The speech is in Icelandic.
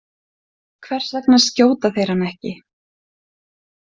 Hvers vegna skjóta þeir hann ekki?